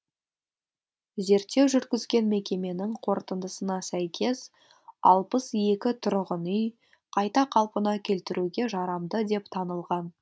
зерттеу жүргізген мекеменің қорытындысына сәйкес алпыс екі тұрғын үй қайта қалпына келтіруге жарамды деп танылған